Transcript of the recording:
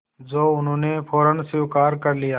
जो उन्होंने फ़ौरन स्वीकार कर लिया